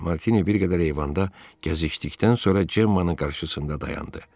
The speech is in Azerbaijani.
Martini bir qədər eyvanda gəzişdikdən sonra Gemmanın qarşısında dayandı.